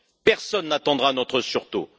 Personne n'attendra notre sursaut.